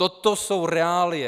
Toto jsou reálie.